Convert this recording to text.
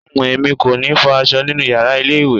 Uhm, èmi kò ní fọ aṣọ nínú yàrá ilé ìwẹ̀.